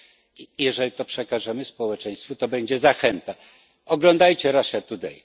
i jeżeli to przekażemy społeczeństwu, to będzie zachęta oglądajcie Russia Today.